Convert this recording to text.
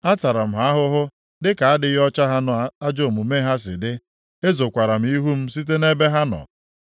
Atara m ha ahụhụ dịka adịghị ọcha ha na ajọ omume ha si dị. Ezokwara m ihu m site nʼebe ha nọ.